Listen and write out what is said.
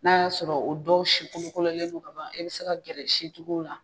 N'a y'a sɔrɔ o dɔw sikolokololen don ka ban e bɛ se ka gɛrɛ sikɔlɔkɔlɔne la.